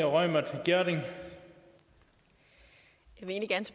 regeringer og